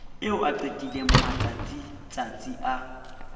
eo a qetileng matsatsitsatsi a